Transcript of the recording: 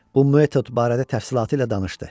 Bu metod barədə təfsilatı ilə danışdı.